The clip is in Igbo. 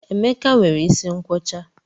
Emeka nwere isi nkwọcha